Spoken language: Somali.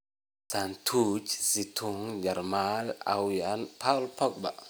(Suddeutsche Zeitung - Jarmal) Aaway Paul Pogba?